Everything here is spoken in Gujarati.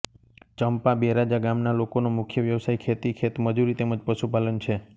ચંપા બેરાજા ગામના લોકોનો મુખ્ય વ્યવસાય ખેતી ખેતમજૂરી તેમ જ પશુપાલન છે